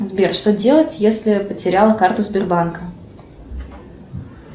сбер что делать если потеряла карту сбербанка